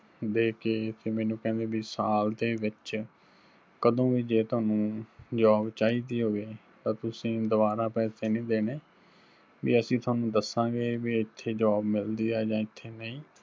ਦੇਕੇ ਫਿਰ ਮੈਨੂੰ ਕਹਿੰਦੇ ਬੀ ਸਾਲ ਦੇ ਵਿੱਚ ਕਦੋਂ ਵੀ ਜੇ ਤੁਹਾਨੂੰ job ਚਾਹੀਦੀ ਹੋਵੇ ਤਾਂ ਤੁਸੀਂ ਦੁਬਾਰਾ ਪੈਸੇ ਨੀ ਦੇਣੇ, ਵੀ ਅਸੀਂ ਤੁਹਾਨੂੰ ਦਸਾਂਗੇ ਵੀ ਇੱਥੇ job ਮਿਲਦੀ ਆ ਜਾਂ ਇੱਥੇ ਨਹੀਂ।